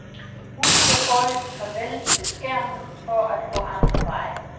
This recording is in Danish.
Hun siger foreløbig farvel til skærmen for at gå andre veje.